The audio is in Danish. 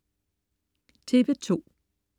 TV2: